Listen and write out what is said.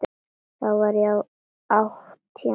Þá var ég átján ára.